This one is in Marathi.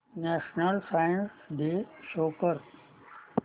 नॅशनल सायन्स डे शो कर